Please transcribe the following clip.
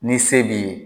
Ni se b'i ye